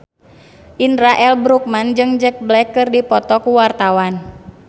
Indra L. Bruggman jeung Jack Black keur dipoto ku wartawan